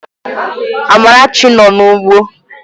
Amarachi nọ n'ugbo